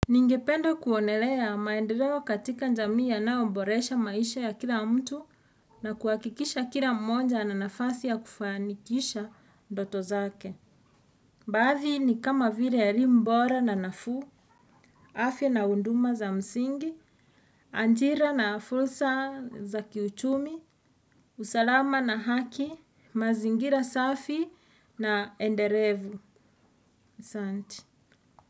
Ningependa kuonelea maendeleo katika jamii yanayoboresha maisha ya kila mtu na kuhakikisha kila mmoja ana nafasi ya kufanikisha ndoto zake. Baadhi ni kama vile ya rimbora na nafuu, afya na huduma za msingi, ajira na fursa za kiuchumi, usalama na haki, mazingira safi na endelevu, asante.